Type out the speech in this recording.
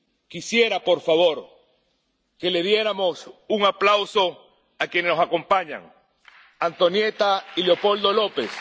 Quisiera, por favor, que les diéramos un aplauso a quienes nos acompañan Antonieta y Leopoldo López,